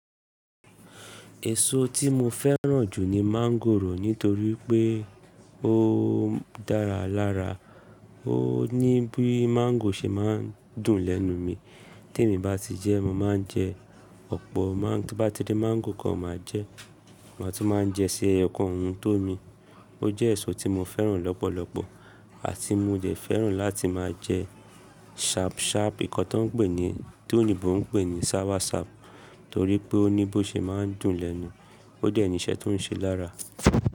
Èso tí mo fẹ́ràn jù ni mangòrò nítorí pé ó dára lára, ó ní bí mangò ṣe máa ń dùn lẹ́nu mi. Tí èmi bá ti jẹ́, mo máa ń jẹ ọ̀pọ̀, tí n bá ti ri mangò kan máa jẹ, màá tún máa ń jẹ sí ẹyokan ohun tó mi. Ó jẹ́ èso tí mo fẹ́ràn lọ́pọ̀lọpọ̀ àti mo dẹ̀ fẹ́ràn láti máa jẹ sharp sharp nnkan tó ń pè ní tí òyìnbó ń pè ní soursop torí pé ó ní bó ṣe é máa ń dùn lẹ́nu, ó dẹ́ ni iṣẹ́ tó ń ṣe lára.